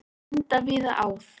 Enda víða áð.